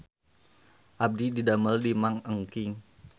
Abdi didamel di Mang Engking